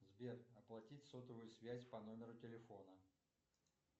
сбер оплатить сотовую связь по номеру телефона